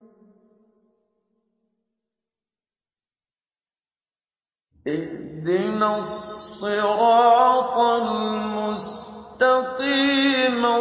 اهْدِنَا الصِّرَاطَ الْمُسْتَقِيمَ